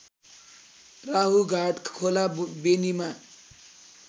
राहुघाट खोला बेनीमा